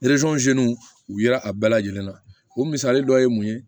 u yera a bɛɛ lajɛlen na o misali dɔ ye mun ye